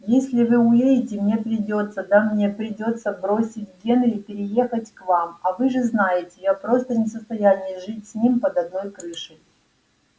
если вы уедете мне придётся да мне придётся бросить генри переехать к нам а вы же знаете я просто не в состоянии жить с ним под одной крышей